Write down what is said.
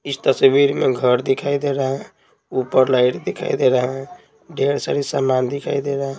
इस तस्वीर में घर दिखाई दे रहा है ऊपर लाइट दिखाई दे रहा है ढेर सारी समान दिखाई दे रहा है।